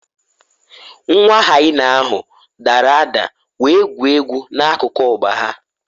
Nwa hyena ahụ dara ada wee gwuo egwu n’akụkụ ọgba ha